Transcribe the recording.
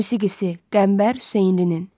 Musikisi Qəmbər Hüseynlinin.